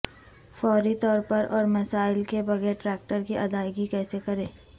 فوری طور پر اور مسائل کے بغیر ٹریکٹر کی ادائیگی کیسے کریں